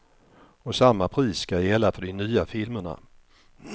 Och samma pris ska gälla för de nya filmerna.